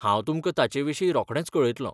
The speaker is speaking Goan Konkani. हांव तुमकां ताचेविशीं रोखडेंच कळयतलों.